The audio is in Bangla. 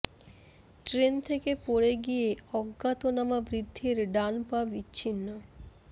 ট্রেন থেকে পড়ে গিয়ে অজ্ঞাতনামা বৃদ্ধের ডান পা বিচ্ছিন্ন